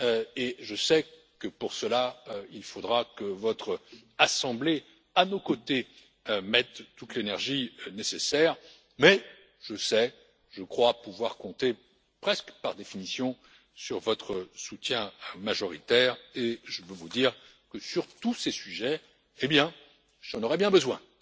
et je sais que pour cela il faudra que votre assemblée, à nos côtés, mette toute l'énergie nécessaire, mais je sais, je crois pouvoir compter presque par définition sur votre soutien majoritaire et je veux vous dire que sur tous ces sujets, eh bien, j'en aurai bien besoin.